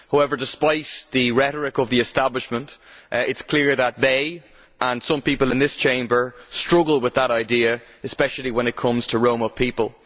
However, despite the rhetoric of the establishment, it is clear that they and some people in this Chamber struggle with that idea, especially when it comes to Roma people.